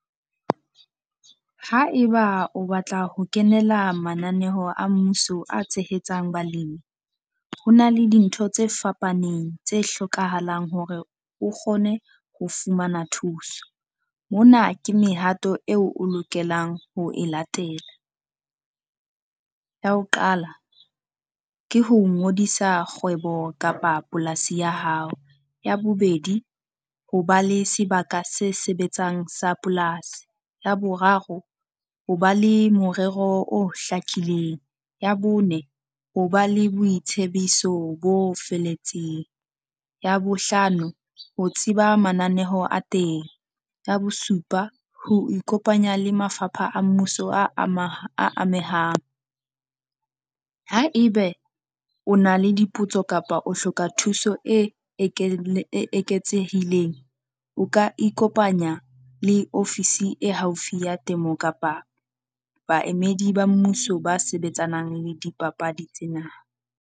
Haeba o batla ho kenela mananeo a mmuso a tshehetsang balemi, ho na le dintho tse fapaneng tse hlokahalang hore o kgone ho fumana thuso. Mona ke mehato eo o lokelang ho e latela. Ya ho qala ke ho ngodisa kgwebo kapa polasi ya hao. Ya bobedi, ho ba le sebaka se sebetsang sa polasi. Ya boraro, ho ba le morero o hlakileng. Ya bone, hore ba le boitsebiso bo felletseng. Ya bohlano, ho tseba mananeho a teng. Ya bosupa ho ikopanya le mafapha a mmuso a a amehang. Haebe o na le dipotso kapa o hloka thuso e e eketsehileng, o ka ikopanya le ofisi e haufi ya temo kapa baemedi ba mmuso ba sebetsanang le dipapadi tsena.